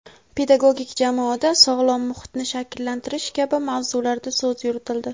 pedagogik jamoada sog‘lom muhitni shakllantirish kabi mavzularda so‘z yuritildi.